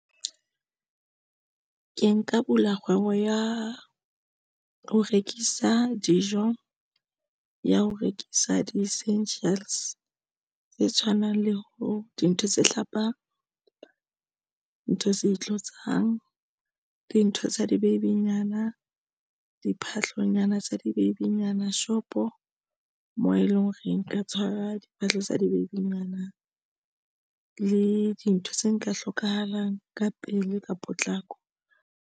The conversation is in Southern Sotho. Ke nka bula kgwebo ya ho rekisa dijo ya ho rekisa di essentials tse tshwanang le ho dintho tse hlapang ntho tse itlotsang. Dintho tsa di-baby-nyana diphahlonyana tsa di-baby-nyana shop o moo e leng hore nka tshwara diphahlo tsa di-baby-nyana le dintho tse nka hlokahalang ka pele ka potlako.